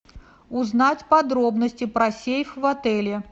узнать подробности про сейф в отеле